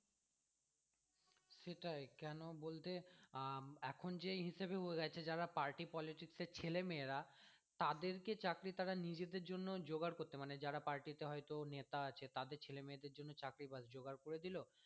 সেটাই কেন বলতে আহ এখন যে হিসেবে হয়ে গেছে যারা party politics এর ছেলে মেয়েরা তাদেরকে চাকরি তারা নিজেদের জন্য জোগাড় করতে মানে যারা party এ হয়তো নেতা আছে তাদের ছেলে মেয়েদের জন্য চাকরি জোগাড় করে দিলো